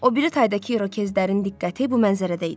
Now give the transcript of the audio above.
O biri taydakı irokezlərin diqqəti bu mənzərədə idi.